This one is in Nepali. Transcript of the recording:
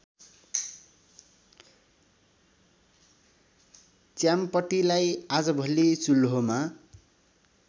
च्याम्पटीलाई आजभोलि चुल्होमा